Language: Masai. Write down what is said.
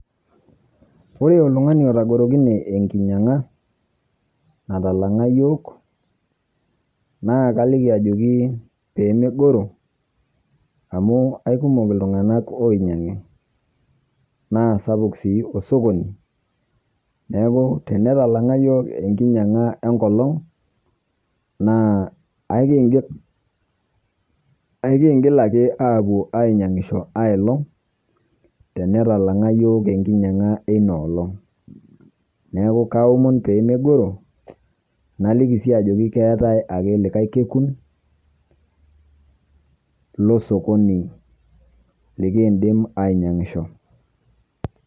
Ore ltung'ani otagorokine ekinyang'a natalang'a yook. Naa kaliiki ajokii pee meing'oroo amu eekumook iltung'anak onyaang'i, naa sapuuk sii osokoni naaku tene talang'a yiook ekinyang'aa enkoloong' naa akiing'il, akiing'il , aaku anyanyishoo ailoong' tene talaang'aa yoo kinyang'a enia oolong'. Neeku aomon pee meing'oro nalikii sii ajoki keetai ake likai keekun lo sokoni likiidim ainyang'ishoo.